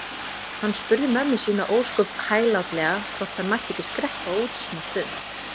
Hann spurði mömmu sína ósköp hæglátlega hvort hann mætti ekki skreppa út smástund.